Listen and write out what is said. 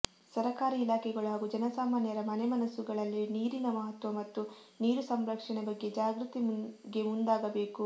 ಸರಕಾರಿ ಇಲಾಖೆಗಳು ಹಾಗೂ ಜನಸಾಮಾನ್ಯರ ಮನೆ ಮನಸ್ಸುಗಳಲ್ಲಿ ನೀರಿನ ಮಹತ್ವ ಮತ್ತು ನೀರು ಸಂರಕ್ಷಣೆ ಬಗ್ಗೆ ಜಾಗೃತಿಗೆ ಮುಂದಾಗಬೇಕು